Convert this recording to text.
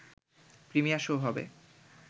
premier show হবে